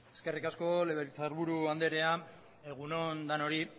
eskerrik asko legebiltzarburu andrea egun on danori